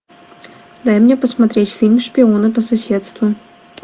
дай мне посмотреть фильм шпионы по соседству